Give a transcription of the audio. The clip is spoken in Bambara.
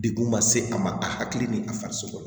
Dekun ma se a ma a hakili ni a farisogo